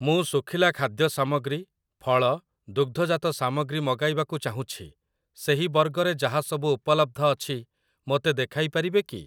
ମୁଁ ଶୁଖିଲା ଖାଦ୍ୟ ସାମଗ୍ରୀ, ଫଳ, ଦୁଗ୍ଧଜାତ ସାମଗ୍ରୀ ମଗାଇବାକୁ ଚାହୁଁଛି, ସେହି ବର୍ଗରେ ଯାହା ସବୁ ଉପଲବ୍ଧ ଅଛି ମୋତେ ଦେଖାଇପାରିବେ କି?